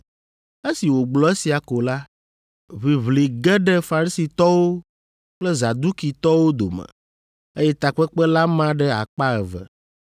Esi wògblɔ esia ko la, ʋiʋli ge ɖe Farisitɔwo kple Zadukitɔwo dome, eye takpekpe la ma ɖe akpa eve.